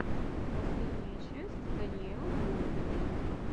последняя часть даниэлы голубевой